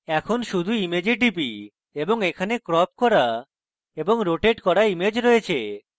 এখন শুধু image টিপি এবং এখানে ক্রপ করা এবং রোটেট করা image রয়েছে